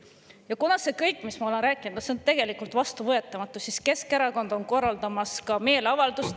Ja kuna see kõik, mis ma olen rääkinud, on tegelikult vastuvõetamatu, siis Keskerakond on korraldamas meeleavaldust …